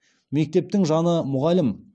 мектептің жаны мұғалім